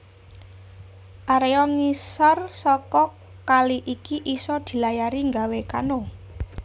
Area ngisor saka kali iki iso dilayari ngawe kano